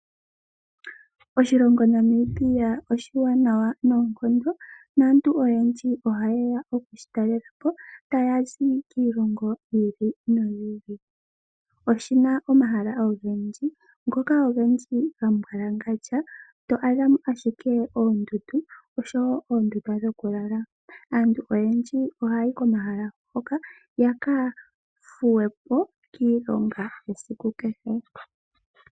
Oshilongo Namibia oshiwanawa noonkondo naantu oyendji ohayeya okushitalelapo taya zi kiilongo yi ili noyi ili. Oshina omahala ogendji, ngoka ogendji gambwalangandja to adhamo ashike oondundu oshowo oondunda dhokulala. Aantu oyendji ohaya yi komahala ngoka yakathuwe po kiilonga yesiku kehe.